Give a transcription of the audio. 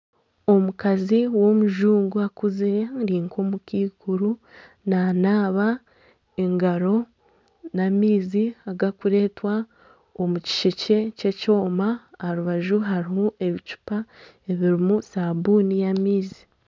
Omukazi w'omujungu akuzire ari nk'omukaikuru nanaaba engaro nana amaizi agarikureetwa omukishekye kyekyoma aha rubaju harimu ebicupa ebirimu sabuuni y'amaizi